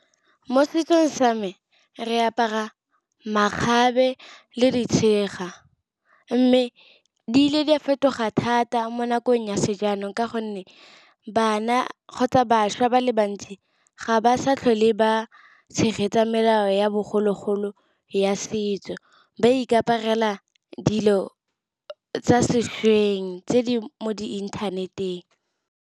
Mo setsong sa me re apara makgabe le ditšhega. Mme di ile di a fetoga thata mo nakong ya sejanong. Ka gonne bana kgotsa bašwa ba le bantsi ga ba sa tlhole ba tshegetsa melao ya bogologolo ya setso. Ba ikaparela dilo tsa sešweng tse di mo di-internet-eng.